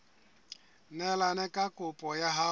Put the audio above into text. neelane ka kopo ya hao